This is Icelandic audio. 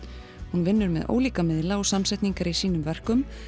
hún vinnur með ólíka miðla og samsetningar í sínum verkum